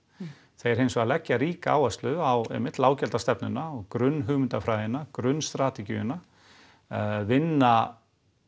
þeir hins vegar leggja ríka áherslu á einmitt og grunnhugmyndafræðina grunnstrategíuna vinna